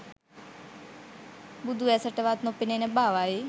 බුදුඇසටවත් නොපෙනෙන බවයි.